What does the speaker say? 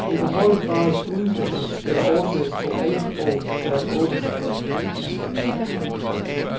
I hvor høj grad udkast skal oversættes til alle sprog er et åbent spørgsmål.